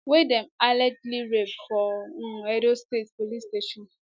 wey dem allegedly rape for um edo state police station